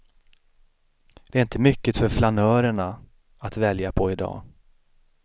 Det är inte mycket för flanörernaa att välja på idag.